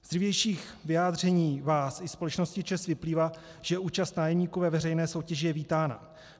Z dřívějších vyjádření vás i společnosti ČEZ vyplývá, že účast nájemníků ve veřejné soutěži je vítána.